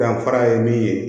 Danfara ye min ye